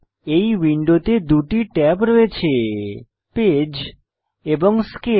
এই উইন্ডোতে দুটি ট্যাব রয়েছে পেজ এবং স্কেল